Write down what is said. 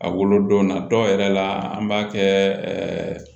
A wolodon na dɔw yɛrɛ la an b'a kɛ